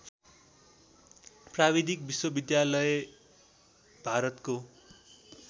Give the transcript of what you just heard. प्राविधिक विश्वविधालय भारतको